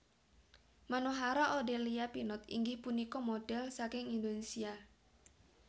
Manohara Odelia Pinot inggih punika modhel saking Indonesia